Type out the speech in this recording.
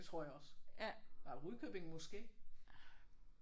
Det tror jeg også. Der er Rudkøbing måske?